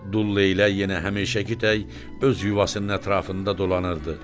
Dul Leylək yenə həmişəkitək öz yuvasının ətrafında dolanırdı.